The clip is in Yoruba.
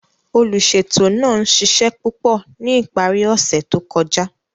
Oluṣeto naa n ṣiṣẹ pupọ ni ipari ose to kọja.